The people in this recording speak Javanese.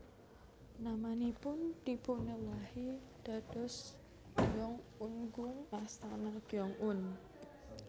Namanipun dipunewahi dados Gyeong un gung Astana Gyeong un